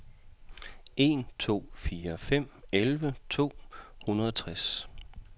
en to fire fem elleve to hundrede og tres